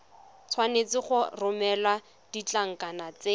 tshwanetse go romela ditlankana tse